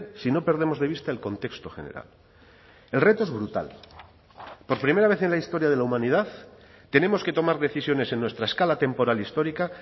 si no perdemos de vista el contexto general el reto es brutal por primera vez en la historia de la humanidad tenemos que tomar decisiones en nuestra escala temporal histórica